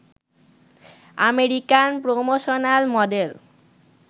American promotional model